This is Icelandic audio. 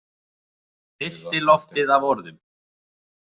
Fyllti loftið af orðum.